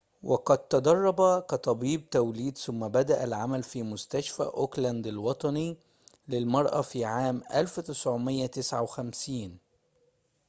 وقد تدرب كطبيب توليد ثم بدأ العمل في مستشفى أوكلاند الوطني للمرأة في عام 1959